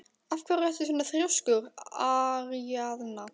Af hverju ertu svona þrjóskur, Aríaðna?